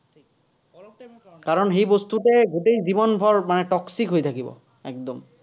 কাৰণ, সেই বস্তুতে গোটেই জীৱনভৰ মানে toxic হৈ থাকিব, একদম।